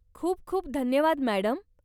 खूप खूप धन्यवाद मॅडम.